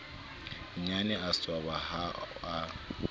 nnyane a swaba ha a